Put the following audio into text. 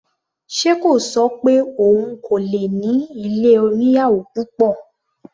Ṣe kò ṣọ pé òun kò lè ní ilé oníyàwò púpọ̀?